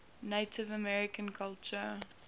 native american culture